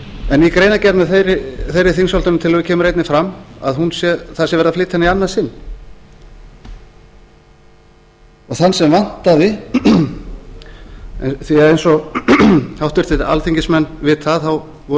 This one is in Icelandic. en í greinargerð með þeirri þingsályktunartillögu kemur einnig fram að það sé verið að flytja hana í annað sinn og þann sem vantaði því eins og háttvirtir alþingismenn vita að þá voru